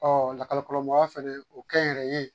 lakɔlikaramɔgɔya fɛnɛ o kɛ n yɛrɛ ye